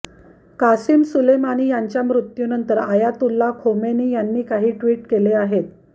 Qasem Soleimani यांच्या मृत्यूनंतर Ayatollah Khomeini यांनी काही ट्विट केले आहेत